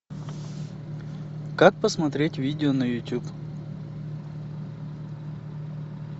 как посмотреть видео на ютуб